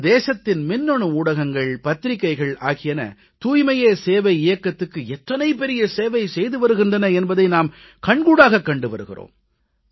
நமது தேசத்தின் மின்னணு ஊடகங்கள் பத்திரிக்கைகள் ஆகியன தூய்மையே சேவை இயக்கத்துக்கு எத்தனை பெரிய சேவை செய்து வருகின்றன என்பதை நாம் கண்கூடாகக் கண்டு வருகிறோம்